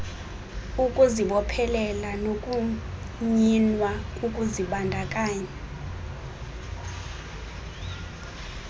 ukuzibophelela nokunyinwa kokuzibandakanya